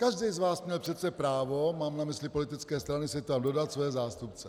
Každý z vás měl přece právo, mám na mysli politické strany, si tam dodat své zástupce.